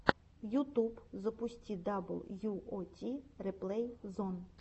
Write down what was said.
ютуб запусти дабл ю о ти реплей зон